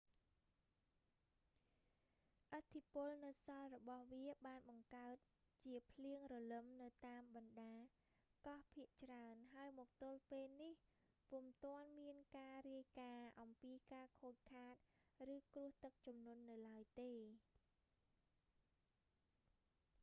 ឥទ្ធិពលនៅសល់របស់វាបានបង្កើតជាភ្លៀងរលឹមនៅតាមបណ្តាកោះភាគច្រើន ហើយមកទល់ពេលនេះ ពុំទាន់មានការរាយការណ៍អំពីការខូចខាត ឬគ្រោះទឹកជំនន់នៅឡើយទេ